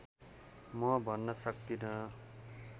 म भन्न सक्दिन